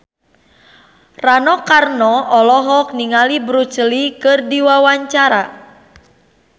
Rano Karno olohok ningali Bruce Lee keur diwawancara